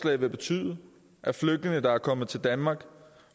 vil betyde at flygtninge der er kommet til danmark